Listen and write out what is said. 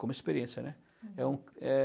Como experiência, né? Uhum. É, é